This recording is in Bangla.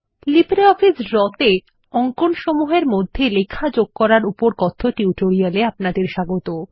লিব্রিঅফিস ড্র তে অঙ্কনসমূহ এর মধ্যে লেখা যোগ করার উপর কথ্য টিউটোরিয়াল এ আপনাদের স্বাগত